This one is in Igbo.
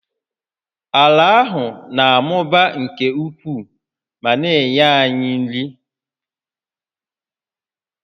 Ala ahụ na-amụba nke ukwuu ma na-enye anyị nri